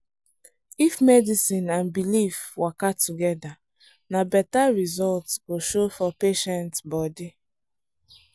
if medicine and belief waka together na better result go show for patient body.